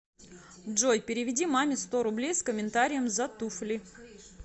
джой переведи маме сто рублей с комментарием за туфли